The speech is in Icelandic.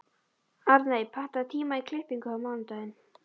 Arney, pantaðu tíma í klippingu á mánudaginn.